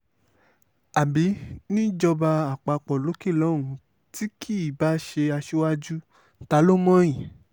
àbí níjọba àpapọ̀ lókè lọ́hùn-ún tí kì í báá ṣe aṣíwájú ta ló mọ̀ yín